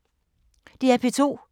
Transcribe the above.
DR P2